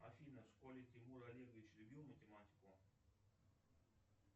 афина в школе тимур олегович любил математику